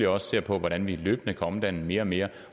også ser på hvordan vi løbende kan omdanne mere mere